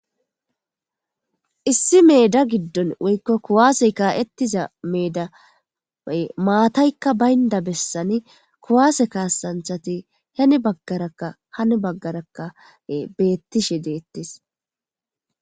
issi meeda giddon woykko kuwaasey kaa7ettiza meeday maataykka baynda bessani kuwaase kaasanthati hene baggarakka hani baggarakka beettishe deettis